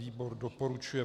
Výbor doporučuje